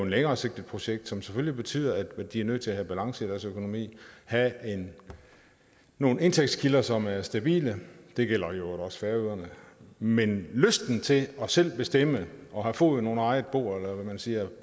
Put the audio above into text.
længeresigtet projekt som selvfølgelig betyder at de er nødt til at have balance i deres økonomi have nogle indtægtskilder som er stabile det gælder i øvrigt også færøerne men lysten til selv at bestemme og have foden under eget bord eller hvad man siger